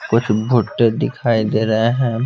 कुछ भुट्टे दिखाई दे रहे हैं।